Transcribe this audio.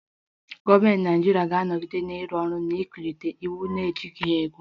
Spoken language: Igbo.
Gọọmentị Naịjirịa ga-anọgide na-arụ ọrụ n'ịkwalite iwu na-ejighị ego